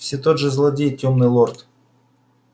все тот же злодей тёмный лорд